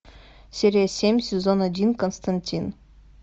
серия семь сезон один константин